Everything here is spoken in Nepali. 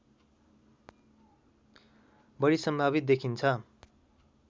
बढी सम्भावित देखिन्छ